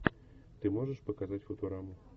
ты можешь показать футураму